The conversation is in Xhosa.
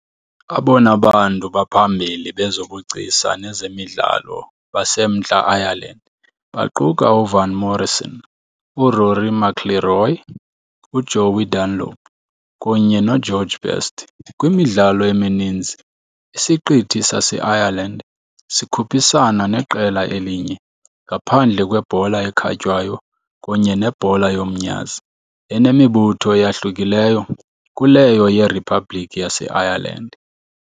Abona bantu baphambili bezobugcisa nezemidlalo baseMntla Ireland baquka uVan Morrison, uRory McIlroy, uJoey Dunlop kunye noGeorge Best. Kwimidlalo emininzi, isiqithi saseIreland sikhuphisana neqela elinye, ngaphandle kwebhola ekhatywayo kunye nebhola yomnyazi, enemibutho eyahlukileyo kuleyo yeRiphabhliki yaseIreland.